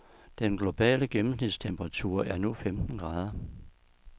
Den globale gennensmitstemperatur er nu femten grader.